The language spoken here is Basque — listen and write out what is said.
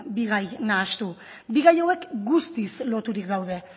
bi gai nahastu bi gai hauek guztiz loturik daude